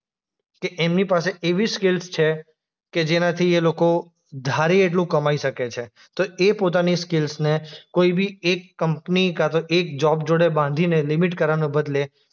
કે એમની પાસે એવી સ્કીલ્સ છે કે જેનાથી એ લોકો ધારીએ એટલું કમાય શકે છે. તો એ પોતાની સ્કીલ્સને કોઈ બી એક કંપની કાંતો એક જોબ જોડે બાંધીને લિમિટ કરવાને બદલે